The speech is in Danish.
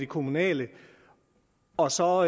kommunale og så